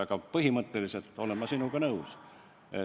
Aga põhimõtteliselt olen ma sinuga nõus.